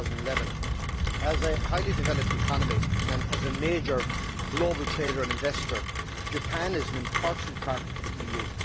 2011. As a highly developed economy and as a major global trader and investor, Japan is an important partner for the EU.